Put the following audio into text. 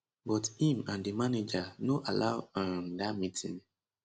but im and di manager no allow um dat meeting